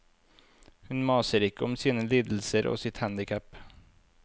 Hun maser ikke om sine lidelser og sitt handicap.